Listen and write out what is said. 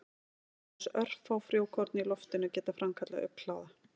Aðeins örfá frjókorn í loftinu geta framkallað augnkláða.